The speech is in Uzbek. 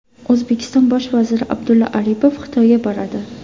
O‘zbekiston bosh vaziri Abdulla Aripov Xitoyga boradi.